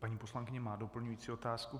Paní poslankyně má doplňují otázku.